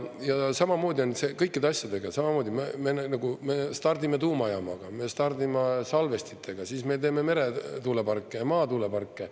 Ja samamoodi on kõikide asjadega: samamoodi, nagu me stardime tuumajaamaga, me stardime salvestitega, siis me teeme meretuuleparke ja maatuuleparke.